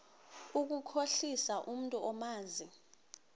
ukukhohlisa umntu omazi